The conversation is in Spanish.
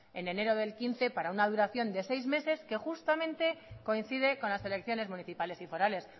en enero del dos mil quince para una duración de seis meses que justamente coinciden con las elecciones municipales y forales